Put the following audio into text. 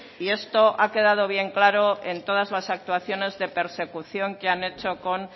y esto ha quedado bien claro en todas las actuaciones de persecución que han hecho con